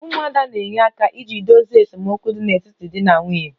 'umuada' na-enye aka iji dozie esemokwu dị n'etiti di na nwunye